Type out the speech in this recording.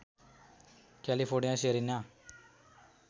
क्यालिफोर्नियामा Serena